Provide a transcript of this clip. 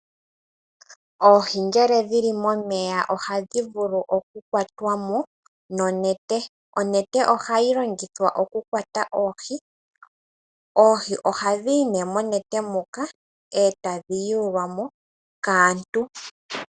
Oohi ngele dhili momeya ohadhi vulu oku kwatwamo nonete. Onete ohayi longithwa oku kwata oohi, oohi oha dhiyi ne monete muka etadhi yulwamo kaantu.